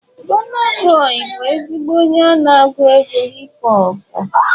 Burna boị bụ ezigbo onye na-agụ hip họpụ.